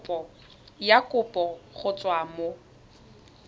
ya kopo go tswa mo